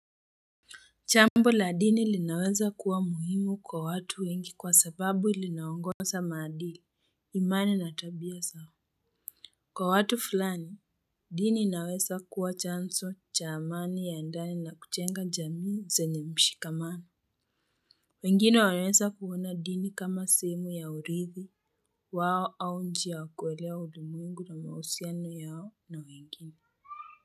Jambo la dini linaweza kuwa muhimu kwa watu wengi kwa sababu linaongoza maadili, imani na tabia zao. Kwa watu fulani, dini inaweza kuwa chanzo cha amani ya ndani na kujenga jamii zenye mshikamano. Wengine wanaweza kuona dini kama sehemu ya uridhi wao au njia ya kuelewa ulimwengu na mahusiano yao na wengine.